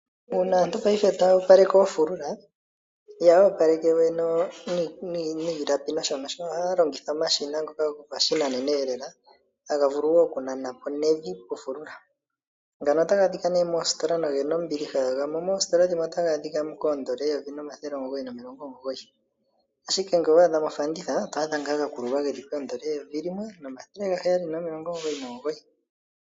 Uuna aantu paife tayoopaleke oofulula ihaya opaleke we niilapi nosho nosho ohaya longitha omashina ngoka gopashinanenelela hagavulu wo okunanapo nevi pofulula, ngano otagaadhika nee moositola nogena ombiliha gamwe moositola dhimwe otagaadhikamo koN$1 999 ashike ngele owaadhamo ofanditha otwaadha ngaa gakululwa geli ko N$1799.